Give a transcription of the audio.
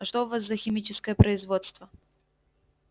а что у вас за химическое производство